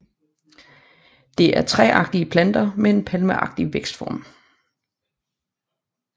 Det er træagtige planter med en palmeagtig vækstform